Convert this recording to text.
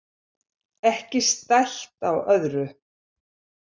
Ekki stætt á öðru.